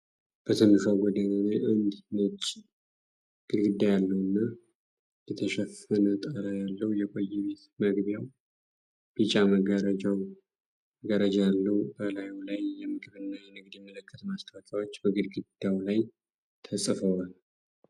በትንሿ ጎዳና ላይ አንድ ነጭ ግድግዳ ያለውና በቆርቆሮ የተሸፈነ ጣራ ያለው የቆየ ቤት። መግቢያው ቢጫ መጋረጃ ያለው ሲሆን፣ በላዩ ላይ የምግብና የንግድ ምልክት ማስታወቂያዎች በግድግዳው ላይ ተጽፈዋል።